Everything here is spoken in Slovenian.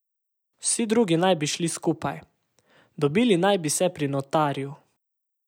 Vsi drugi naj bi šli skupaj, dobili naj bi se pri notarju.